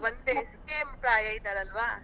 ಒಂದೇ same ಪ್ರಾಯ ಇದ್ದಾರಲ್ವಾ.